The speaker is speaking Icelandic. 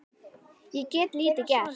Ég get lítið gert.